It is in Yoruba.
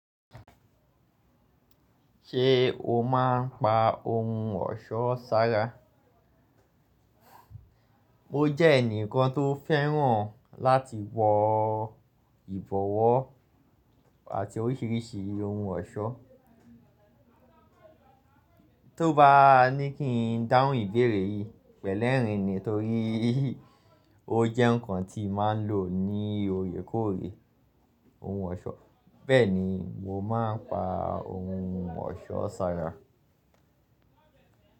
Ṣé o máa ń pa ohun ọ̀ṣọ́ sára? Mo jẹ́ ẹnìkan tó fẹ́ràn láti wọ ìbọwọ́ àti oríṣiríṣi ohun ọ̀ṣọ́. To bá ní kí n dáhùn ìbéèrè yìí pẹ̀lẹ́rìn ni torí ó jẹ́ nǹkan tí màá ń lò ní òye kóòrè ohun ọ̀ṣọ́. Bẹ́ẹ̀ ni, mo máa ń pa ohun ọ̀ṣọ́ sára.